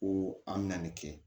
Ko an bɛ na nin kɛ